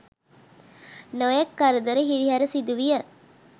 නොයෙක් කරදර හිරිහැර සිදුවිය.